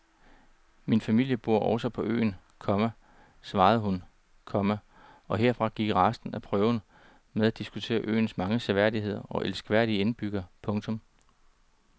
Min familie bor også på øen, komma svarede hun, komma og herfra gik resten af prøven med at diskutere øens mange seværdigheder og elskværdige indbyggere. punktum